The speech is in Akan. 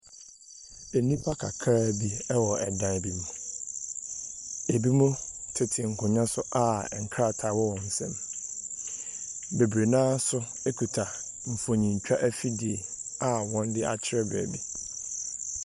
Nnipa kakraa bi wɔ dan bi mu. Ebinom tete nkonnwa so a nkrataa wɔ wɔn nsam. Bebree no ara nso kuta mfonintwa afidie a wɔde akyerɛ baabi.